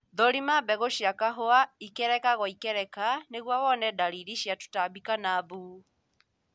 Thũrima mbegũ cia kahũa ikereka gwa ikereka nĩguo wone dalili cia tũtambi kana mbu